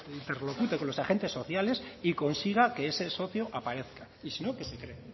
interlocute con los agentes sociales y consiga que ese socio aparezca y sino que se cree